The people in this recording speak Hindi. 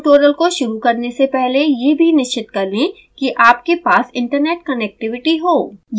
इस ट्यूटोरियल को शुरू करने से पहले यह भी निश्चित कर लें कि आपके पास इन्टरनेट कनेक्टिविटी हो